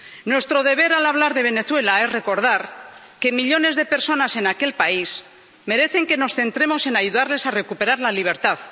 Nuestro deber, al hablar de Venezuela, es recordar que millones de personas en aquel país merecen que nos centremos en ayudarlas a recuperar la libertad.